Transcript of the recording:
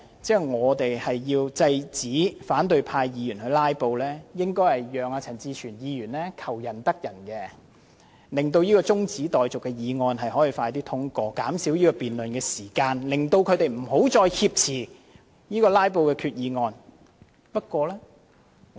如果我們想制止反對派"拉布"，便應讓陳志全議員求仁得仁，盡快通過他提出的中止待續議案，減少辯論時間，使他們不要再藉"拉布"挾持決議案。